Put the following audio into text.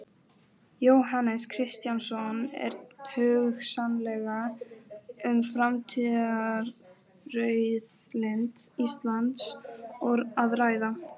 Jóhannes Kristjánsson: Er hugsanlega um framtíðarauðlind Íslands að ræða?